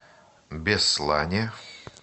беслане